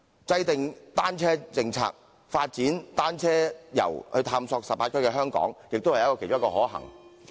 制訂單車政策，發展單車遊探索18區的香港，也是其中一個可行做法。